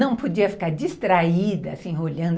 Não podia ficar distraída, se enrolhando.